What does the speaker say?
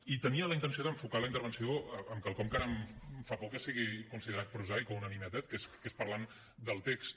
i tenia la intenció d’enfocar la intervenció amb quelcom que ara em fa por que sigui considerat prosaic o una nimietat que és parlant del text